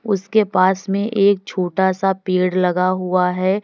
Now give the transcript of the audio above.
उसके पास में एक छोटा सा पेड़ लगा हुआ है।